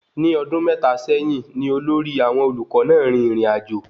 Ní ọdun mẹ́ta sẹyìn ní olórí àwọn olùkọ náà rìn ìrìnàjò